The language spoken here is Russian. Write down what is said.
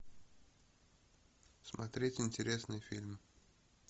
смотреть интересные фильмы